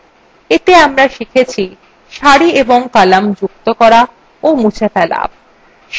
এতে আমরা শিখেছি